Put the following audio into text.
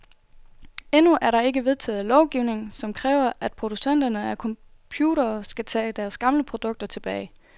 Endnu er der ikke vedtaget lovgivning, som kræver, at producenter af computere skal tage deres gamle produkter tilbage.